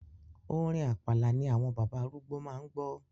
Orin Àpàlà ni àwọn bàbá arúgbó máa ń gbọ́.